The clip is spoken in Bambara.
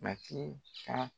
Batii ka